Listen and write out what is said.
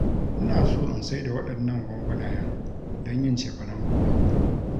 Ina so in saida waɗannan gwangwanayen don yin cefanen gobe